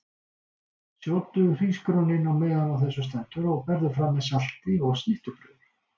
Sjóddu hrísgrjónin á meðan á þessu stendur og berðu fram með salati og snittubrauði.